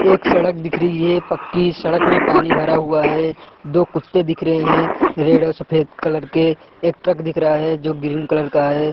एक सड़क दिख रही है पक्की सड़क में पानी भरा हुआ है दो कुत्ते दिख रही है रेड और सफ़ेद कलर के एक ट्रक दिख रहा है जो ग्रीन कलर का है ।